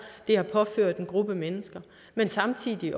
der er påført en gruppe mennesker men samtidig